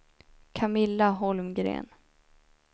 Camilla Holmgren